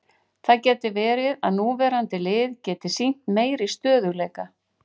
Það gæti verið að núverandi lið geti sýnt meiri stöðugleika.